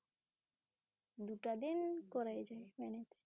দুটা দিন করাই যায় Manage ।